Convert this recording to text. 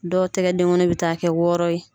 Dɔw tɛgɛ denkɔnin bɛ taa kɛ wɔɔrɔ ye.